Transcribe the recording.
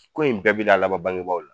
Ko in bɛɛ be na laban bangebaaw la